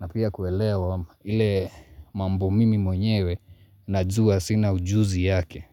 na pia kuelea vile mambo mimi mwenyewe Najua sina ujuzi yake.